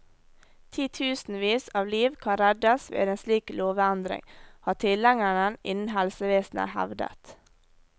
Titusenvis av liv kan reddes ved en slik lovendring, har tilhengerne innen helsevesenet hevdet.